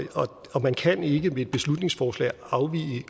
og man kan ikke med et beslutningsforslag afvige